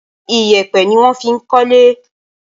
iyepe ní wón fí kólé